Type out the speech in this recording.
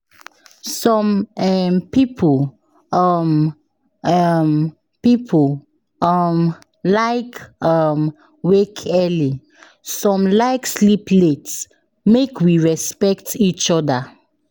Some um people um um people um like um wake early, some like sleep late, make we respect each other.